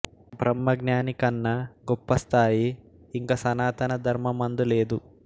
బ్రహ్మజ్ఞాని కన్నా గొప్ప స్థాయి ఇంక సనాతన ధర్మమందు లేదు